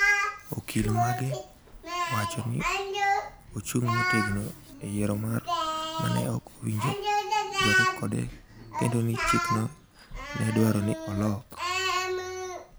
Okil mage wacho ni ochung’ motegno e yiero mare ma ne ok owinjore kode kendo ni chikno ne dwarore ni olok